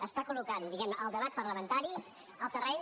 està col·locant diguem ne el debat parlamentari al terreny